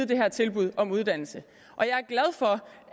det her tilbud om uddannelse og jeg